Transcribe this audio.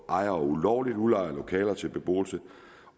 at ejere ulovligt har udlejet lokaler til beboelse